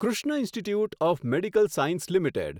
Krishna institute of medical science limited